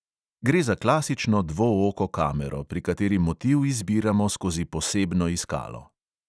Gre za klasično dvooko kamero, pri kateri motiv izbiramo skozi posebno iskalo.